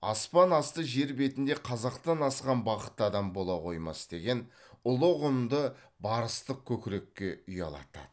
аспан асты жер бетінде қазақтан асқан бақытты адам бола қоймас деген ұлы ұғымды барыстық көкірекке ұялатады